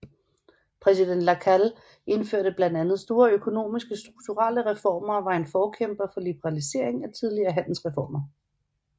Præsident Lacalle indførte blandt andet store økonomiske strukturelle reformer og var en forkæmper for liberalisering af tidligere handelsreformer